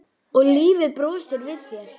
Og lífið brosir við þér!